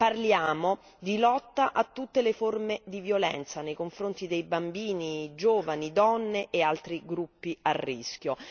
parliamo di lotta a tutte le forme di violenza nei confronti di bambini, giovani, donne e altri gruppi a rischio.